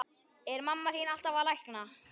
Er mamma þín alltaf að lækna?